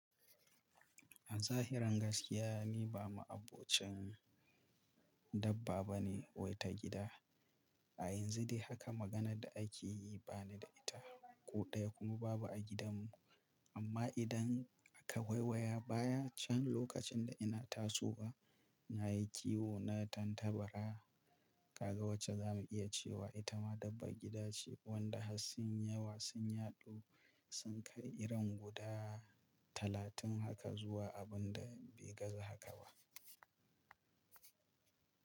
A zahiran gaskiya ni ba ma'abocin dabba bane wai ta gida. A yanzu dai haka maganar da ake yi ba ni da ita. Ko ɗaya kuma babu a gidanmu. Amma idan aka waiwaya baya can lokacin da ina taso, na yi kiwo na tantabara kaga wacce za mu iya cewa ita ma dabba gida ce wadda harsun yiyawa sun yaɗu sun kai irin guda talatin haka zuwa abin da bai gaza haka ba.